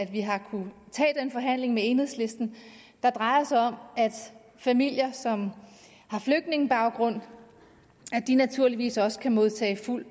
vi har kunnet tage den forhandling med enhedslisten der drejer sig om at familier som har flygtningebaggrund naturligvis også kan modtage fuld